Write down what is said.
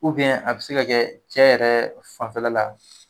a bɛ se ka kɛ cɛ yɛrɛ fanfɛla la